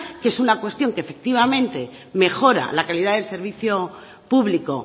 que es una cuestión que efectivamente mejora la calidad del servicio público